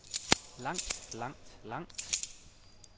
langt langt langt